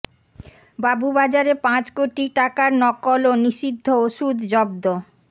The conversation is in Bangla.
বাবুবাজারে পাঁচ কোটি টাকার নকল ও নিষিদ্ধ ওষুধ জব্দ